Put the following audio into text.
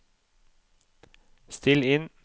still inn